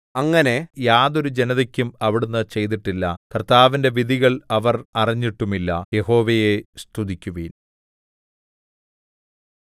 അങ്ങനെ യാതൊരു ജനതക്കും അവിടുന്ന് ചെയ്തിട്ടില്ല കർത്താവിന്റെ വിധികൾ അവർ അറിഞ്ഞിട്ടുമില്ല യഹോവയെ സ്തുതിക്കുവിൻ